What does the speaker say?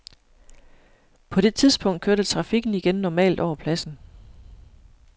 På det tidspunkt kørte trafikken igen normalt over pladsen.